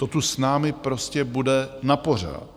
To tu s námi prostě bude napořád.